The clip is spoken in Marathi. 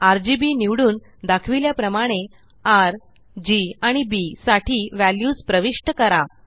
आरजीबी निवडून दाखविल्या प्रमाणे र जी आणि बी साठी व्हॅल्यूज प्रविष्ट करा